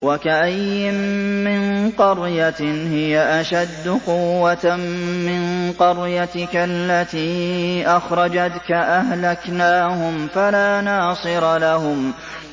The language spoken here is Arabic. وَكَأَيِّن مِّن قَرْيَةٍ هِيَ أَشَدُّ قُوَّةً مِّن قَرْيَتِكَ الَّتِي أَخْرَجَتْكَ أَهْلَكْنَاهُمْ فَلَا نَاصِرَ لَهُمْ